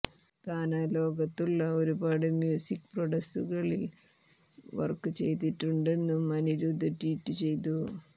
തനാ ലോകത്തുള്ള ഒരുപാട് മ്യൂസിക് പ്രൊഡക്സുകളിൽ വർക്ക് ചെയ്തിട്ടുണ്ടെന്നും അനിരുദ്ധ് ട്വീറ്റ് ചെയ്തു